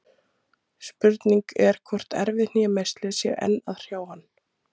Spurning er hvort erfið hnémeiðsli séu enn að hrjá hann?